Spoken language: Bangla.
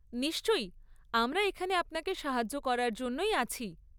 নিশ্চয়ই, আমরা এখানে আপনাকে সাহায্য করার জন্যই আছি।